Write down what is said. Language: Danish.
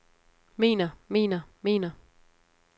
mener mener mener